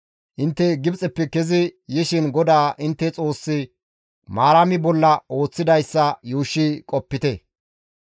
Intte Gibxeppe kezi yishin GODAA intte Xoossi Maarami bolla ooththidayssa yuushshi qopite.